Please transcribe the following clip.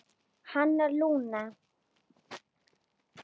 Hann og Lúna.